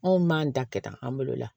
Anw b'an ta kɛ tan an bolo la